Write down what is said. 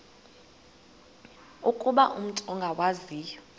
ukuba umut ongawazivo